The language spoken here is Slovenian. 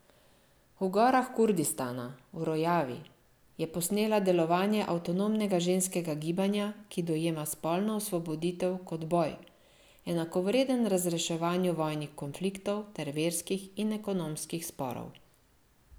V gorah Kurdistana, v Rojavi, je posnela delovanje avtonomnega ženskega gibanja, ki dojema spolno osvoboditev kot boj, enakovreden razreševanju vojnih konfliktov ter verskih in ekonomskih sporov.